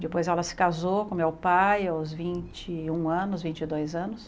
Depois ela se casou com meu pai aos vinte e um anos, vinte e dois anos.